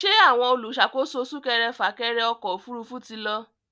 Ṣé àwọn olùṣàkóso súkẹrẹfà-kẹrẹ ọkọ̀ òfurufú ti lọ?